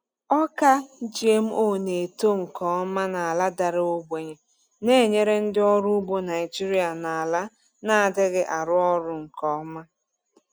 Ọka GMO na-eto nke ọma n’ala dara ogbenye, na-enyere ndị ọrụ ugbo Naijiria na ala na-adịghị arụ ọrụ nke ọma.